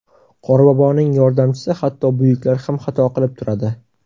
Qorboboning yordamchisi Hatto buyuklar ham xato qilib turadi.